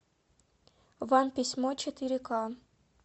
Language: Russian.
вам письмо четыре ка